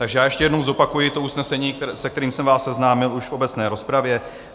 Takže já ještě jednou zopakuji to usnesení, se kterým jsem vás seznámil už v obecné rozpravě.